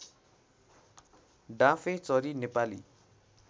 डाँफेचरी Nepali